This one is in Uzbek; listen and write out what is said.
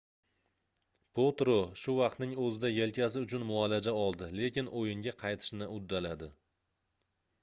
potro shu vaqtning oʻzida yelkasi uchun muolaja oldi lekin oʻyinga qaytishni uddaladi